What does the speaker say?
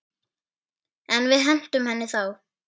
En við hentum henni þá.